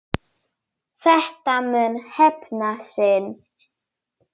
Þetta mun hefna sín.